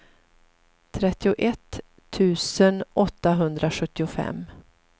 trettioett tusen åttahundrasjuttiofem